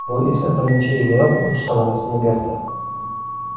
Bu esa birinchi yiliyoq o‘z samarasini berdi.